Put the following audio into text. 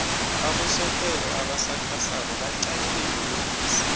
abosomarhwebo abasakhasako baqalene nobudisi